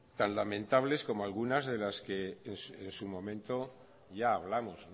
tan lamentables como algunas de las que en su momento ya hablamos